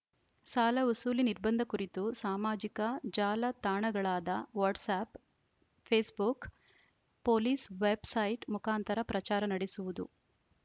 ಸಾಲ ವಸೂಲಿ ನಿರ್ಬಂಧ ಕುರಿತು ಸಾಮಾಜಿಕ ಜಾಲ ತಾಣಗಳಾದ WhatsApp Facebook police website ಮುಖಂತಾರ ಪ್ರಚಾರ ನಡೆಸುವುದು